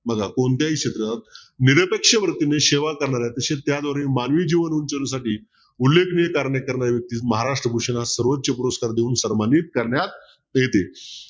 बघा कोणत्याही क्षेत्रात निरपेक्ष वृत्तीने सेवा करणाऱ्या तसेच त्याद्वारे मानवी जीवन उंचवण्यासाठी उल्लेखनीय कार्य करणारी वृत्ती महाराष्ट्र भूषणास सर्वोच पुरस्कार देऊन सन्मानित करण्यात येते.